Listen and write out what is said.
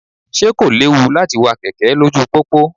Ṣé kò léwu láti wa kẹ̀kẹ́ lójú pópó?